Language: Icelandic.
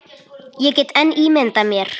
Ég get enn ímyndað mér!